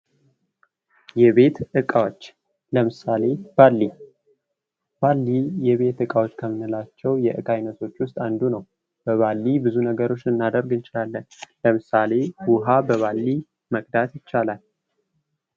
የቤት እቃዎች ለምሳሌ ባሊ ባልዲ የቤት እቃዎች ከምንላቸው እቃ አይነቶች ውስጥ አንዱ ነው። በባሊ ብዙ ነገሮችን ልናደርግ እንችላለን። ለምሳሌ ውሀ በባሊ መቅዳት ይቻላል።